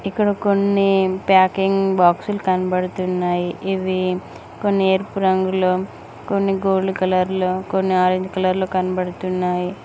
ఇక్కడ కొన్ని ప్యాకింగ్ బాక్సులు కనబడుతున్నాయి ఇవి కొన్ని ఎరుపు రంగులో కొన్ని గోల్డ్ కలర్ లో కొన్ని ఆరెంజ్ కలర్లు కనబడుతున్నాయి.